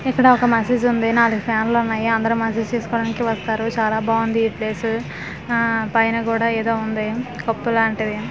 ఇక్కడ ఒక మసీదు ఉంది నాలుగు ఫ్యాన్ లు ఉన్నాయి అందరి మసీదు చూసుకోవడానికి వస్తారు చాలా బావుంది ఈ ప్లేస్ ఆ పైన గూడా ఏదో ఉంది కొప్పు లాంటిది.